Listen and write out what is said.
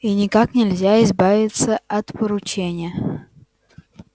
и никак нельзя избавиться от поручения